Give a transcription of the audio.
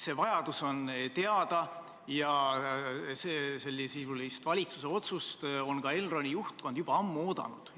See vajadus on teada ja sellesisulist valitsuse otsust on ka Elroni juhtkond ammu oodanud.